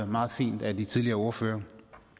meget fint af de tidligere ordførere